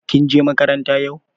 Kin je makaranta yau?